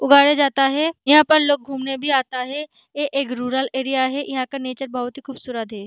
उगाया जाता है यहाँ पर लोग घूमने भी आता है ये एक रूरल एरिया यहाँ का नेचर बहुत ही खूबसूरत है।